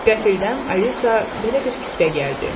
Qəfildən Alisa belə bir fikrə gəldi.